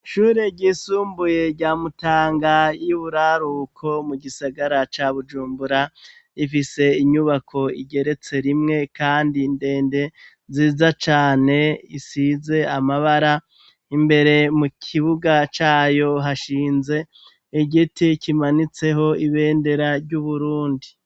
Ishure ryisumbuye rya mutanga y'iburaruko mu gisagara ca bujumbura ifise inyubako igeretse rimwe kandi ndende ziza cane isize amabara, imbere mu kibuga cayo hashinze igiti kimanitseho ibendera ry'uburundi.